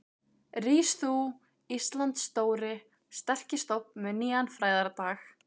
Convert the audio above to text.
Rís þú, Íslands stóri, sterki stofn með nýjan frægðardag.